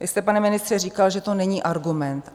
Vy jste, pane ministře, říkal, že to není argument.